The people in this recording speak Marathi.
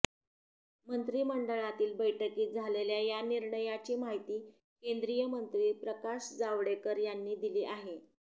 मंत्रिमंडळातील बैठकीत झालेल्या या निर्णयाची माहिती केंद्रीय मंत्री प्रकाश जावडेकर यांनी दिली आहे